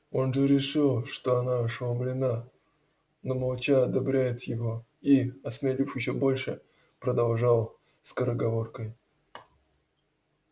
он же решил что она ошеломлена но молча одобряет его и осмелев ещё больше продолжал скороговоркой